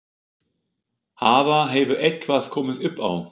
Hafa, hefur eitthvað komið upp á?